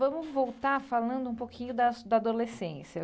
Vamos voltar falando um pouquinho da da adolescência.